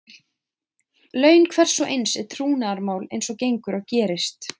Laun hvers og eins er trúnaðarmál eins og gengur og gerist.